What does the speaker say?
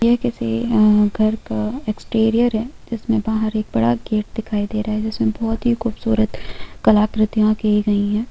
यह किसी घर का एक्सटेरियर है इसमें बाहर एक बड़ा गेट दिखाई दे रहा है इसमें बहुत ही खूबसूरत कलाकृतियां की गई है।